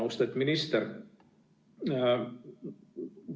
Austet minister!